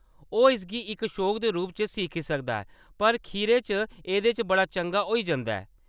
ओह्‌‌ इसगी इक शौक दे रूप च सिक्खी सकदा ऐ, पर खीरै च एह्‌‌‌दे च बड़ा चंगा होई जंदा ऐ।